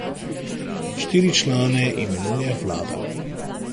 Štiri člane imenuje vlada.